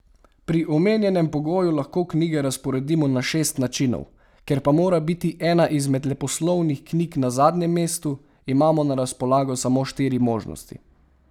Pri omenjenem pogoju lahko knjige razporedimo na šest načinov, ker pa mora biti ena izmed leposlovnih knjig na zadnjem mestu, imamo na razpolago samo štiri možnosti.